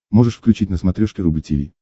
можешь включить на смотрешке рубль ти ви